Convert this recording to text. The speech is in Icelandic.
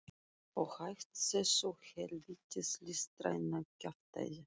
Og hætt þessu hel vítis listræna kjaftæði.